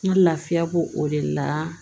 N ka lafiya b'o o de la